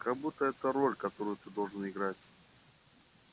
как будто это роль которую ты должен играть